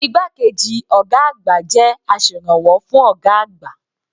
Igbákejì ọ̀gá àgbà jẹ́ aserànwọ́ fún ọ̀gá àgbà.